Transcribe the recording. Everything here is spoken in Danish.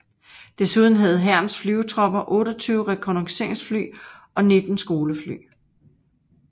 Desuden havde Hærens Flyvertropper 28 rekognosceringsfly og 19 skolefly